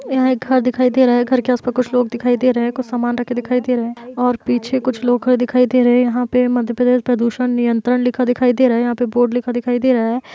यहाॅं एक घर दिखाई दे रहा है। घर के आस पास कुछ लोग दिखाई दे रहे हैं। कुछ सामान रखे दिखाई दे रहे हैं और पीछे कुछ लोग खड़े दिखाई दे रहे हैं। यहाँ पे मध्यप्रदेश प्रदुषण नियंत्रण लिखा दिखाई दे रहा है। यहाँ पे बोर्ड लिखा दिखाई दे रहा है।